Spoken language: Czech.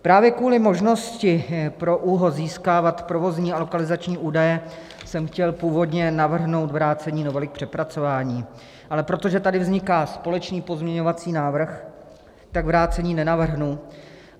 Právě kvůli možnosti pro ÚOHS získávat provozní a lokalizační údaje jsem chtěl původně navrhnout vrácení novely k přepracování, ale protože tady vzniká společný pozměňovací návrh, tak vrácení nenavrhnu.